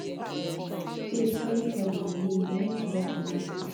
babe sorry for the delay e remain to lock the door